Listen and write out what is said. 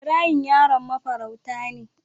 Ibrahim yaron mafarauta ne.